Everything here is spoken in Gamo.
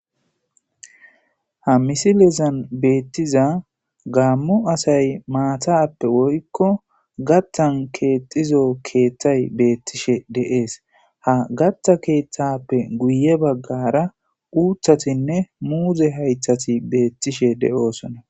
ha misilezan beettiza gaammo asay maatappe woykko gattan keexizo keeththay beettishe deees ha gatta keeththappe guye baggara uuthatinne muuze haythati beettishe de7oosona